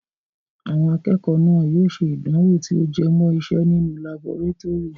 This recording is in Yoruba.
Àwọn akẹ́kọ̀ọ́ náà yóò ṣe ìdánwò tí ó jẹ mọ́ ìse nínú laborétórì.